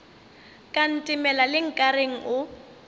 ka ntemela le nkareng o